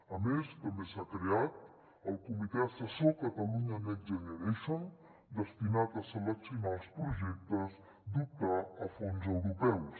a més també s’ha creat el comitè assessor catalunya next generation destinat a seleccionar els projectes d’optar a fons europeus